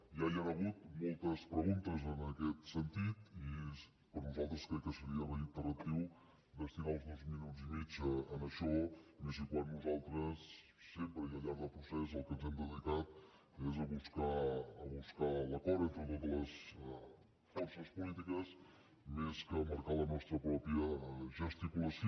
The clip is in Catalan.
ja hi han hagut moltes preguntes en aquest sentit i per nosaltres crec que seria reiteratiu destinar els dos minuts i mig a això més i quan nosaltres sempre i al llarg del procés al que ens hem dedicat és a buscar l’acord entre totes les forces polítiques més que a marcar la nostra pròpia gesticulació